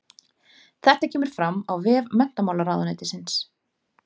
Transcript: Þetta kemur fram á vef menntamálaráðuneytisins